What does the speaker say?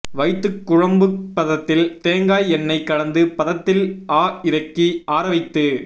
வைத்துக் குழம்புப் பதத்தில் தேங்காய் எண்ணை கலந்து பதத்தில் ஆஇறக்கி ஆறவைத்து